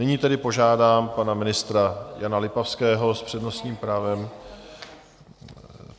Nyní tedy požádám pana ministra Jana Lipavského s přednostním právem...